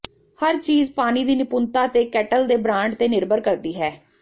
ਹਰ ਚੀਜ਼ ਪਾਣੀ ਦੀ ਨਿਪੁੰਨਤਾ ਤੇ ਕੇਟਲ ਦੇ ਬ੍ਰਾਂਡ ਤੇ ਨਿਰਭਰ ਕਰਦੀ ਹੈ